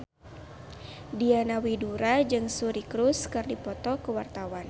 Diana Widoera jeung Suri Cruise keur dipoto ku wartawan